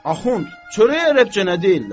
Axund, çörək ərəbcə nə deyirlər?